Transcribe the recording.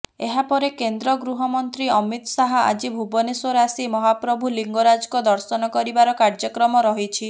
ଏହାପରେ କେନ୍ଦ୍ର ଗୃହମନ୍ତ୍ରୀ ଅମିତ ଶାହ ଆଜି ଭୁବନେଶ୍ବର ଆସି ମହାପ୍ରଭୁ ଲିଙ୍ଗରାଜଙ୍କ ଦର୍ଶନ କରିବାର କାର୍ଯ୍ୟକ୍ରମ ରହିଛି